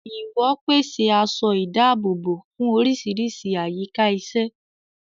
Ìwò pèsè aṣọ ìdáàbòbò fún oríṣiríṣi àyíká iṣẹ́.